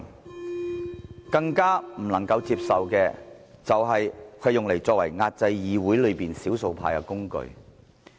我們更不能接受的，就是將它變為壓制議會內少數派的工具。